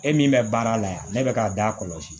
E min bɛ baara la yan ne bɛ k'a da kɔlɔsi